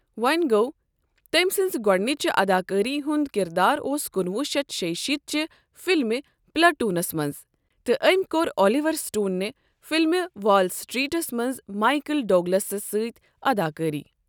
وۄں گوٚو، تٔمۍ سٕنٛزِ گۄڈِنچہِ اداکٲری ہُنٛد کِردار اوس کُنوُہ شیٚتھ شییہ شیٖتھ چہِ فِلمہِ پلیٹوٗنَس منٛز، تہٕ أمۍ کٔر اۄلِوَر سٕٹون نہِ فِلمہِ وال سٕٹریٖٹس منٛز مایکل ڈوگلَس سۭتۍ اداکٲری۔